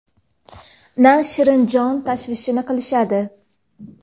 na shirin jon tashvishini qilishadi.